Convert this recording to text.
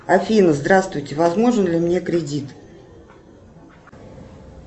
афина здравствуйте возможен ли мне кредит